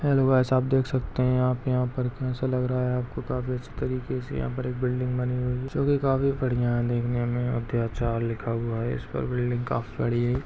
Hello guys आप देख सकते हैं आप यहाँ पर कैसा लग रहा हैं आपको तो आप देख सकते हो यहाँ पर एक बिल्डिंग बनी हुई हैं जिसको की काफी बढ़िया लिखा हुआ हैं इस पर बिल्डिंग काफी बड़ी हैं।